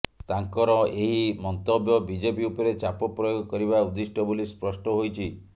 ତାଙ୍କର ଏହି ମନ୍ତବ୍ୟ ବିଜେପି ଉପରେ ଚାପ ପ୍ରୟୋଗ କରିବା ଉଦ୍ଦିଷ୍ଟ ବୋଲି ସ୍ପଷ୍ଟ ହୋଇଛି